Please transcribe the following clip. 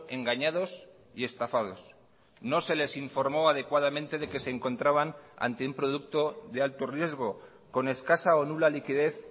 engañados y estafados no se les informó adecuadamente de que se encontraban ante un producto de alto riesgo con escasa o nula liquidez